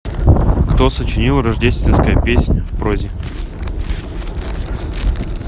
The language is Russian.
кто сочинил рождественская песнь в прозе